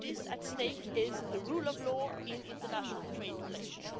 What is at stake is the rule of law in international trade relations.